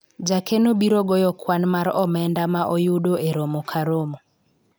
jakeno biro goyo kwan mar omenda ma oyudo e romo ka romo